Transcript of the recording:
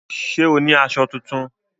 Ṣé o ní aṣọ tuntun?